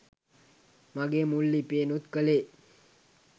මගේ මුල් ලිපියෙනුත් කළේ